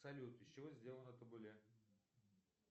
салют из чего сделано табуле